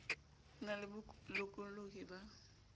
ho na le bolokollohi ba